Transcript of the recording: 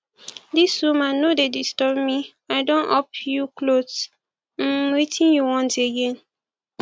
dis woman no dey disturb me i don up you cloth um wetin you want again